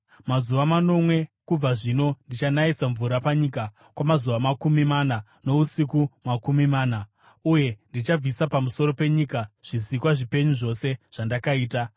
Mazuva manomwe kubva zvino ndichanayisa mvura panyika kwamazuva makumi mana nousiku makumi mana, uye ndichabvisa pamusoro penyika zvisikwa zvipenyu zvose zvandakaita.”